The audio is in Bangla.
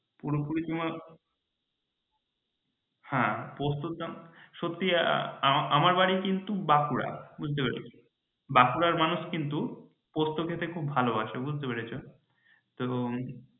পুরোপুরি তোমার হ্যাঁ পোস্তর দাম সত্যিই এতো আমার বাড়ি কিন্তু বাঁকুড়া বুজত্রে পেরেছ বাঁকুড়ার মানুষ কিন্তু পোস্ত খেতে খুব ভালোবাসে বুজতে পেরেছ তো